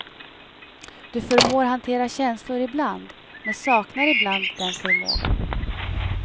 Du förmår hantera känslor ibland, men saknar ibland den förmågan.